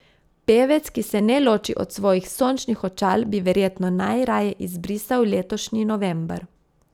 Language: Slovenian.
Pevec, ki se ne loči od svojih sončnih očal, bi verjetno najraje izbrisal letošnji november.